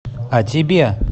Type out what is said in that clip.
а тебе